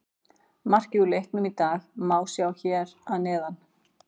Markið úr leiknum í dag má sjá hér að neðan